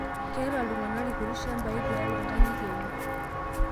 Keeta ltung'ana lkuti shambai tiatua nkang'itie enye